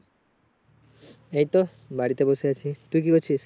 এইতো বাড়িতে বসে আছি তুই কি করছিস?